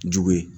Jugu ye